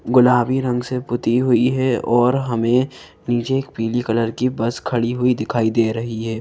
गुलाबी रंग से पुती हुई है और हमें नीचे एक पीली कलर की बस खड़ी हुई दिखाई दे रही है।